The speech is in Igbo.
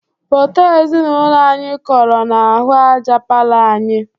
Foto ezinaụlọ anyị koro n'ahụ aja palọ anyị.